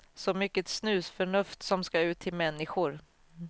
Så mycket snusförnuft som ska ut till människor.